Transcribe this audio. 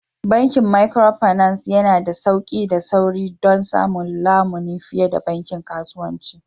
Bankin Micropinaci yana da sauƙi da sauri don samun lamuni fiye da bankin kasuwanci